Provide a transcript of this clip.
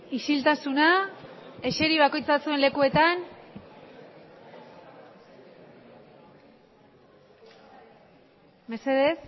isiltasuna eseri bakoitza zuen lekuetan mesedez